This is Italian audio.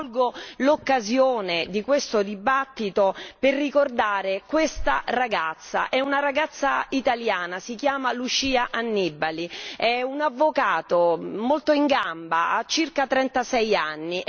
Io colgo l'occasione di questo dibattito per ricordare questa ragazza è una ragazza italiana, si chiama Lucia Annibali, è un avvocato molto in gamba, ha circa 36 anni.